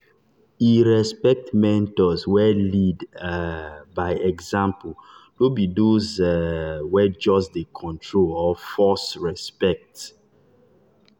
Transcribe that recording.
e respect mentors wey lead um by example no be those um wey just dey control or force respect.